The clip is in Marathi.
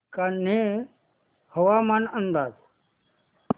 कान्हे हवामान अंदाज